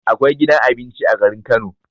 Akwai gidan abinci a garin Kano